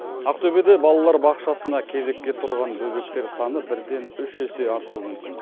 ақтөбеде балалар бақшасына кезекке тұрған бөбектер саны бірден үш есе артуы мүмкін